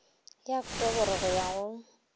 ya oktoboro go ya go